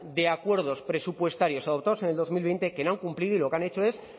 de acuerdos presupuestarios adoptados en el dos mil veinte que no han cumplido y lo que han hecho es